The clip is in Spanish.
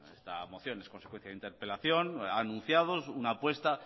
esta moción en consecuencia de interpelación ha anunciado una apuesta